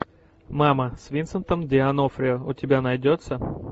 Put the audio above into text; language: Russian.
мама с винсентом д онофрио у тебя найдется